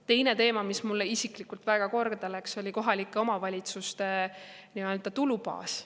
Teine teema, mis mulle isiklikult väga korda läks, oli kohalike omavalitsuste tulubaas.